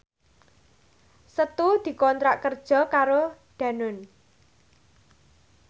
Setu dikontrak kerja karo Danone